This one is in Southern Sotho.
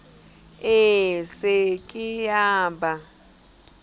e se ke ya ba